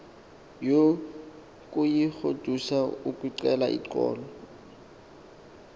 yokuyigodusa ukucela uxolo